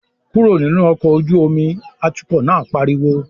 "Kúrò nínú ọkọ̀ ojú omi!", atukọ̀ náà pariwo